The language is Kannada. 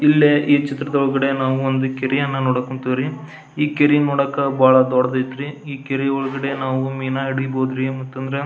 ಇಲ್ಲಿ ಈ ಚಿತ್ರದೊಳಗಡೆ ನಾವು ಒಂದು ಕೆರೆಯನ್ನ ನೋಡಕ್ಹೊಂತಿವಿರಿ ಈ ಕೆರೆ ನೋಡಾಕ ಬಹಳ ದೊಡ್ಡದೈತಿ ಈ ಕೆರೆಯೊಳಗೆ ಮೀನಾ ಹಿಡೀಬಹುದುರಿ ಮತ್ತ.